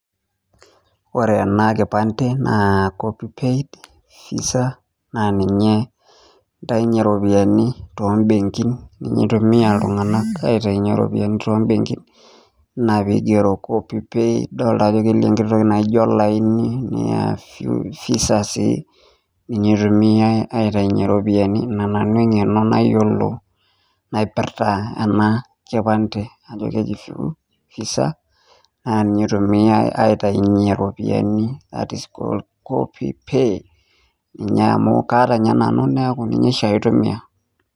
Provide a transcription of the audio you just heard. Ore ana kipande naa (cs copy paid visa cs) naa ninye intainye ropiyiani tombenkin ninye itumia ltung'anak aitainye ropiyiani tombenkin, naa keigero (cs copy paid cs)dolake piidol nkaitoki naijo laini naa visa said ninye etumiae aitainye ropiyiani ana nanu eng'eno nayiolo napirta ana kipande ajo keji visa naa ninye itumiae aitainye ropiyiani, at score copy pay amu kaata ninye nanu naaku ninye shaake aitumia.